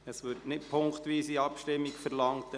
– Es wird keine punktweise Abstimmung verlangt.